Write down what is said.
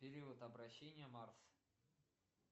период обращение марс